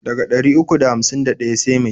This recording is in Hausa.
Daga ɗari uku da hamsin da ɗaya sai mai?